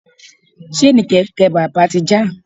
Ṣéènì kẹ̀kẹ́ bàbá ti já.